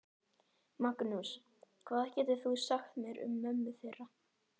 Magnús: Hvað getur þú sagt mér um mömmu þeirra?